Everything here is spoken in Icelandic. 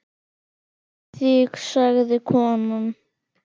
Þig sagði konan.